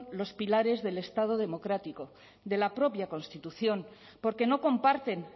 los pilares del estado democrático de la propia constitución porque no comparten